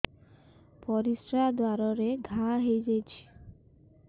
ପରିଶ୍ରା ଦ୍ୱାର ରେ ଘା ହେଇଯାଇଛି